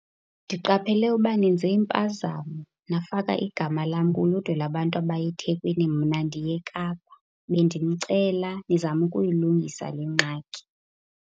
Ndiqaphele uba nenze impazamo nafaka igama lam kuludwe labantu abaya eThekwini, mna ndiya eKapa. Bendinicela nizame ukuyilungisa le ngxaki.